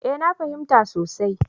Eh na fahimta sosai.